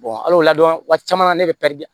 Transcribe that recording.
al'o ladɔn waati caman na ne bɛ pɛridi